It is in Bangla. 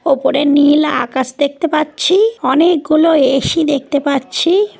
ওপরে নীল আকাশ দেখতে পাচ্ছি অনেকগুলো এ.সি দেখতে পাচ্ছি ।